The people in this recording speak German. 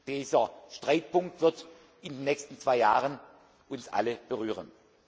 Dieser Streitpunkt wird in den nächsten zwei Jahren uns alle berühren.